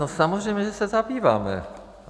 No samozřejmě že se zabýváme.